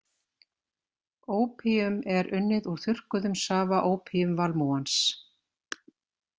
Ópíum er unnið úr þurrkuðum safa ópíumvalmúans.